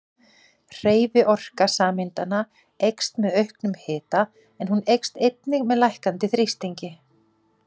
Hreyfiorka sameindanna eykst með auknum hita en hún eykst einnig með lækkandi þrýstingi.